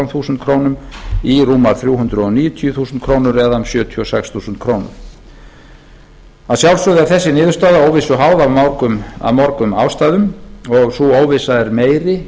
þúsund krónur í rúmar þrjú hundruð níutíu þúsund krónur eða um sjötíu og sex þúsund krónur að sjálfsögðu er þessi niðurstaða óvissu háð af mörgum ástæðum og sú óvissa er meiri